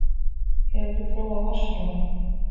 Hefurðu prófað vatnsrúm?